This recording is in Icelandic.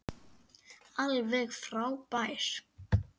Alveg frábær.